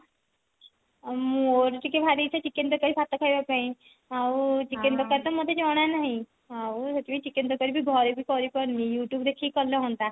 ଆଉ ମୋର ଟିକେ ଭାରି ଇଚ୍ଛା chicken ତରକାରୀ ଭାତ ଖାଇବା ପାଇଁ ଆଉ ଆଉ chicken ତରକାରୀ ତ ମତେ ଜଣ ନାହିଁ ଆଉ ସେଥିପାଇଁ chicken ତରକାରୀ ଘରେ ବି କରି ପାରୁନି youtube ଦେଖି କଲେ ହଅନ୍ତା